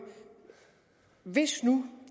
hvis nu